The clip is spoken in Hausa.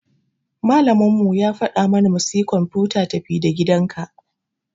Malamin mu ya fada mana mu siya kwamfuta tafi-da-gidanka.